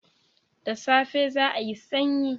Da safe za'ayi sanyi.